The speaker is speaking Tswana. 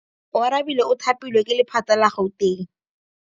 Oarabile o thapilwe ke lephata la Gauteng.